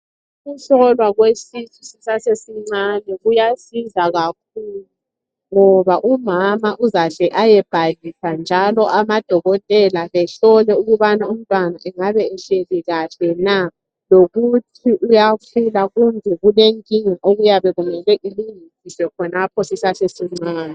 Ukuhlolwa kwesisu sisesesincane kuyasiza kakhulu ngoba umama uzahle ayebhalisa njalo amadokotela bahlole ukuba umntwana engabe ehlezi kuhle na lokuthi uyaphila kumbe kulenkinga okuyabe kumele ilungiswe khonapho sisesesincane.